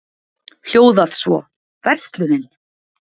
hljóðað svo: Verslunin